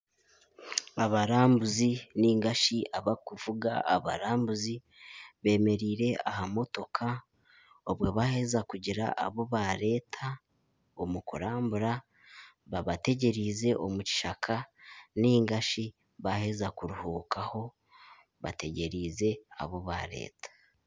Abarambuzi nigashi abakuvuga abarambuzi bemereire aha motoka obwo baheeza kugira abu bareeta omu kurambura babategyerize omu kishaka nigashi baheeza kuruhuukaho bategyerize abu bareeta.